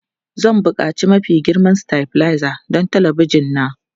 Zan buƙaci mafi girma stabilizer don talabijin na.